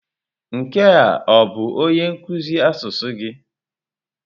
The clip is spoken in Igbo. Nke a ọ bụ onye nkuzi asụsụ gị?